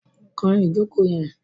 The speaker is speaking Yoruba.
Kan ìjókòó yẹn!